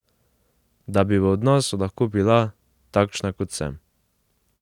Da bi v odnosu lahko bila, takšna kot sem.